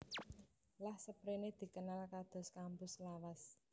Lan saprene dikenal kados kampus lawas